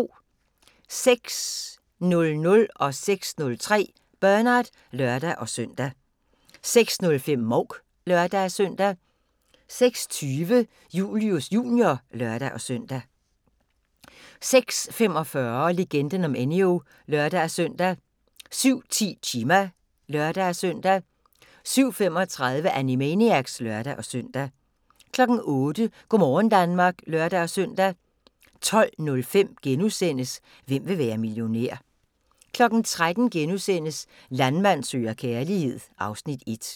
06:00: Bernard (lør-søn) 06:03: Bernard (lør-søn) 06:05: Mouk (lør-søn) 06:20: Julius Jr. (lør-søn) 06:45: Legenden om Enyo (lør-søn) 07:10: Chima (lør-søn) 07:35: Animaniacs (lør-søn) 08:00: Go' morgen Danmark (lør-søn) 12:05: Hvem vil være millionær? * 13:00: Landmand søger kærlighed (Afs. 1)*